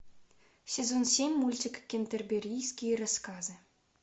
сезон семь мультик кентерберийские рассказы